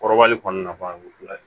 Kɔrɔbali kɔni nafa ye fɔlɔ ye